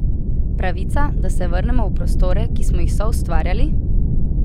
Pravica, da se vrnemo v prostore, ki smo jih soustvarjali?